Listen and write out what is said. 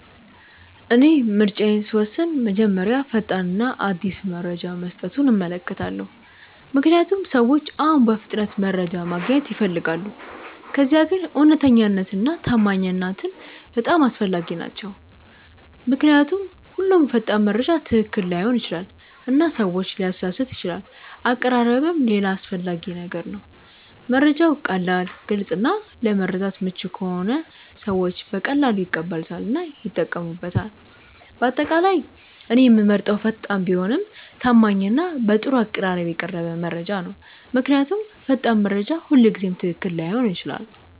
እኔ ምርጫዬን ስወስን መጀመሪያ ፈጣን እና አዲስ መረጃ መስጠቱን እመለከታለሁ፣ ምክንያቱም ሰዎች አሁን በፍጥነት መረጃ ማግኘት ይፈልጋሉ። ከዚያ ግን እውነተኛነት እና ታማኝነት በጣም አስፈላጊ ናቸው ምክንያቱም ሁሉም ፈጣን መረጃ ትክክል ላይሆን ይችላል እና ሰዎችን ሊያሳስት ይችላል አቀራረብም ሌላ አስፈላጊ ነገር ነው፤ መረጃው ቀላል፣ ግልጽ እና ለመረዳት ምቹ ከሆነ ሰዎች በቀላሉ ይቀበሉታል እና ይጠቀሙበታል። በአጠቃላይ እኔ የምመርጠው ፈጣን ቢሆንም ታማኝ እና በጥሩ አቀራረብ የቀረበ መረጃ ነው። ምክንያቱም ፈጣን መረጃ ሁልጊዜ ትክክል ላይሆን ይችላል።